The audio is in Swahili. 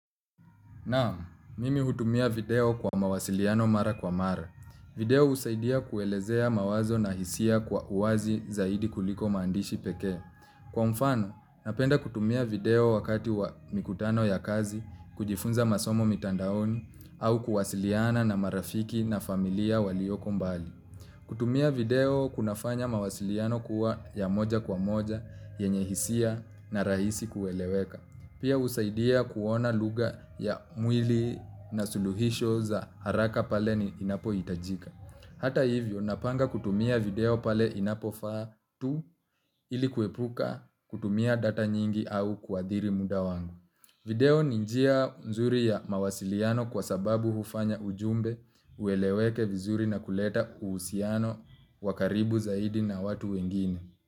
Naam, mimi hutumia video kwa mawasiliano mara kwa mara. Video husaidia kuelezea mawazo na hisia kwa uwazi zaidi kuliko maandishi pekee. Kwa mfano, napenda kutumia video wakati wa mikutano ya kazi, kujifunza masomo mitandaoni, au kuwasiliana na marafiki na familia walioko mbali. Kutumia video kunafanya mawasiliano kuwa ya moja kwa moja, yenye hisia na rahisi kueleweka. Pia husaidia kuona lugha ya mwili na suluhisho za haraka pale inapohitajika. Hata hivyo napanga kutumia video pale inapofaa tu ili kuepuka kutumia data nyingi au kuathiri muda wangu. Video ni njia nzuri ya mawasiliano kwa sababu hufanya ujumbe ueleweke vizuri na kuleta uhusiano wa karibu zaidi na watu wengine.